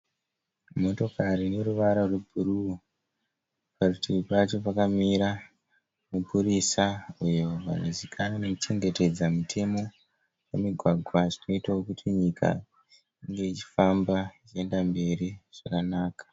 Motokari ine ruvara rwebhuruu. Parutivi pacho pakamira mupurisa uyo anozivikanwa nekuchengetedza mitemo mumigwagwa zvinoitawo kuti nyika inge ichifamba ichienda mberi zvakanaka.